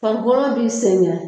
Fani kɔrɔman b'i sɛgɛn.